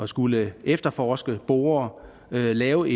skulle efterforske bore lave